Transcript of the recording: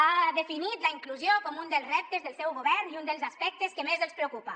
ha definit la inclusió com un dels reptes del seu govern i un dels aspectes que més els preocupa